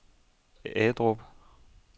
Agedrup